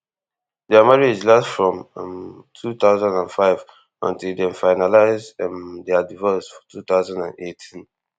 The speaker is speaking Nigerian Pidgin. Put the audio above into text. dia marriage last from um two thousand and five until dem finalise um dia divorce for two thousand and eighteen